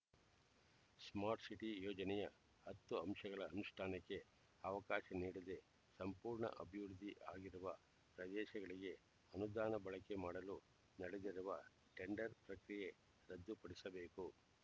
ಆರಕ್ಕೂ ಹೆಚ್ಚು ಗಂಭೀರ ಅಪರಾಧ ಪ್ರಕರಣಗಳಲ್ಲಿ ಭಾಗಿಯಾಗಿದ್ದ ರಾಮನಗರ